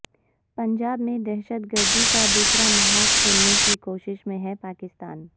پنجاب میں دہشت گردی کا دوسرا محاذ کھولنے کی کوشش میں ہے پاکستان